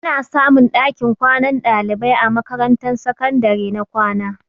Ana samun ɗakin kwanan ɗalibai a makarantar sakandare na kwana.